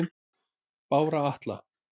Bára Atla